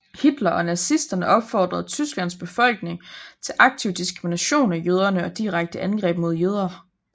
Hitler og nazisterne opfordrede Tysklands befolkning til aktiv diskrimination af jøderne og direkte angreb mod jøder